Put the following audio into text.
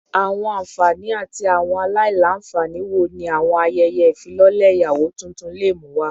Awọn anfani ati awọn alailanfani wo ni awọn ayẹyẹ ifilọlẹ iyawo tuntun le mu wa?